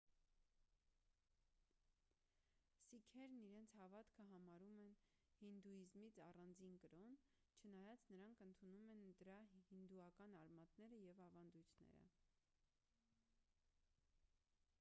սիկհերն իրենց հավատքը համարում են հինդուիզմից առանձին կրոն չնայած նրանք ընդունում են դրա հինդուական արմատները և ավանդույթները